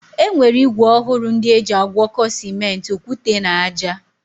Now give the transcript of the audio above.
E nwere ígwè ọhụrụ ndị eji agwọkọ Simenti, okwute na ájá.